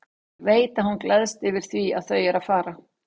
Og ég veit að hún gleðst yfir því að þau eru að fara.